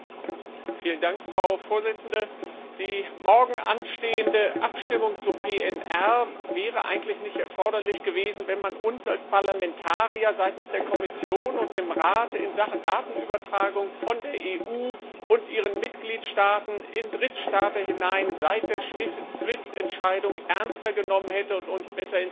Frau Präsidentin! Die morgen anstehende Abstimmung zu Fluggastdatensätzen wäre eigentlich nicht erforderlich gewesen, wenn man uns als Parlamentarier seitens der Kommission und des Rates in Sachen Datenübertragung von der EU und ihren Mitgliedstaaten in Drittstaaten seit der SWIFT Entscheidung ernster genommen und uns besser informiert hätte.